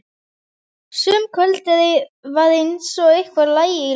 Sum kvöld var eins og eitthvað lægi í loftinu.